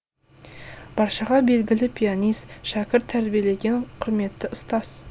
баршаға белгілі пианист шәкірт тәрбиелеген құрметті ұстаз